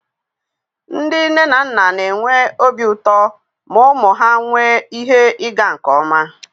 Ndị nne na nna na-enwe obi ụtọ ma ụmụ ha nwee ihe ịga nke ọma